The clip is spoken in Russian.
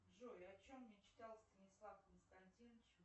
джой о чем мечтал станислав константинович